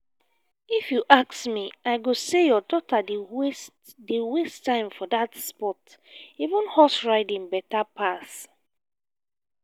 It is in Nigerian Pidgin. if you ask me i go say your daughter dey waste dey waste time for dat sport even horse riding beta pass